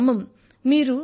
వారిని నమ్మం